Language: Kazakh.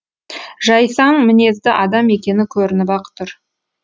жайсаң мінезді адам екені көрініп ақ тұр